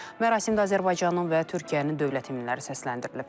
Mərasimdə Azərbaycanın və Türkiyənin dövlət himnləri səsləndirilib.